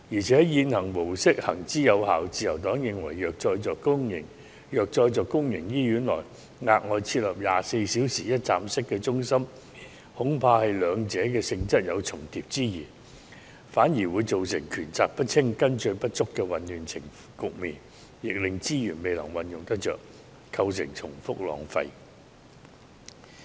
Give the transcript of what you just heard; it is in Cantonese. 此外，現行模式行之有效，自由黨認為如再在公營醫院內額外設立24小時一站式中心，恐怕兩者的性質有重疊之嫌，反而會造成權責不清，跟進不足的混亂局面，亦令資源未能運用得當，構成重複浪費。